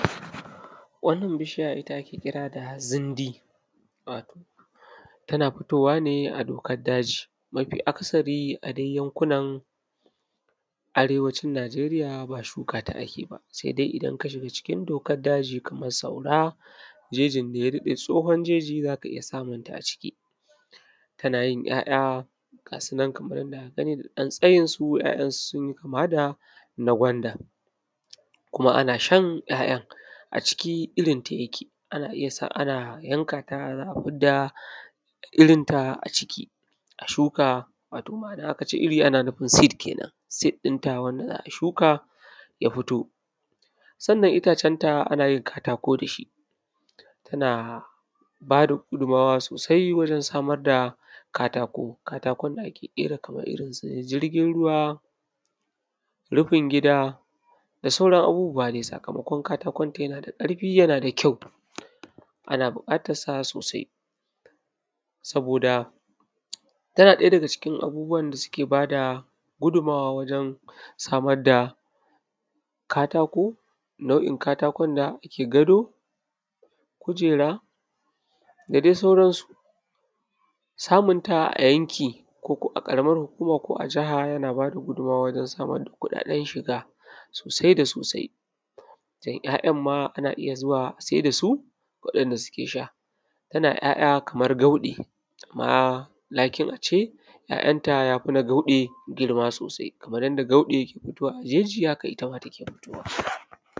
Wannan bishiya ita ake kira da zindi, wato tana fitowa ne a dokar daji. Mafi akasari a dai yankunan arewacin Nijeriya ba shuka ta ake ba, sai dai idan ka shiga cikin dokar daji kamar Saura, jejin da ya daɗe tsohon jeji za ka iya samun ta a ciki. Tana yin 'ya'ya ga su nan kamar yadda aka gani da ɗan tsayinsu, 'ya'yan sun yi kama da na gwanda, kuma ana shan 'ya'yan. A ciki irinta yake, ana iya sa, ana yanka ta za a fidda irinta a ciki, a shuka wato ma'ana aka ce iri ana nufin seed ke nan, seed ɗinta wanda za a shuka ya fito. Sannan itacenta ana yin katako da shi, tana ba da gudummawa sosai wajen samar da katako. Katakon da ake ƙera kamar irin su jirgin ruwa, rufin gida, da sauran abubuwa dai, sakamakon katakonta yana da ƙarfi yana da kyau. Ana buƙatarsa sosai, saboda tana ɗaya daga cikin abubuwan da suke ba da gudummawa wajen samar da katako, nau'in katakon da ake gado, kujera, da dai sauransu. Samun ta a yanki, ko ko a Ƙaramar Hukuma ko a Jaha yana ba da gudunmawa wajen samar da kuɗaɗen shiga, sosai da sosai, don 'ya'yan ma ana iya zuwa a sai da su, waɗanda suke sha. Tana 'ya'ya kamar gauɗe, amma lakin a ce `ya'yanta ya fi na gauɗe girma sosai, kamar yadda gauɗe ke fitowa a jeji haka ita ma take fitowa.